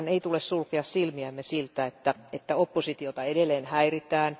Meidän ei tule sulkea silmiämme siltä, että oppositiota edelleen häiritään.